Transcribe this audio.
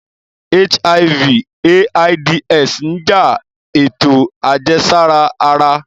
HIV/AIDS n ja eto ajẹsara ara